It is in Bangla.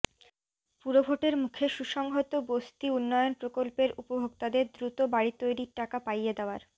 পুরভোটের মুখে সুসংহত বস্তি উন্নয়ন প্রকল্পের উপভোক্তাদের দ্রুত বাড়ি তৈরির টাকা পাইয়ে দেওয়ার